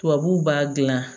Tubabuw b'a dilan